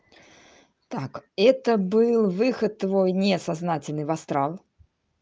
так это был выход твой несознательный в астрал